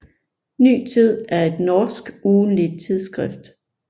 Ny Tid er et norsk ugentligt tidsskrift